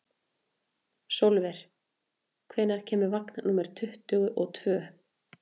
Sólver, hvenær kemur vagn númer tuttugu og tvö?